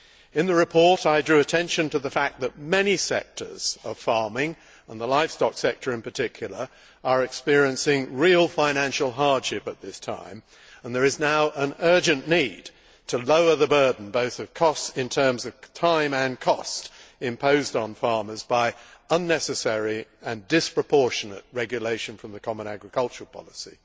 In the report, I drew attention to the fact that many sectors of farming, and the livestock sector in particular, are experiencing real financial hardship at this time, and there is now an urgent need to lower the burden, both in terms of time and cost, imposed on farmers by unnecessary and disproportionate regulation from the common agricultural policy.